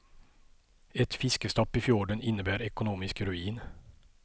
Ett fiskestopp i fjorden innebär ekonomisk ruin.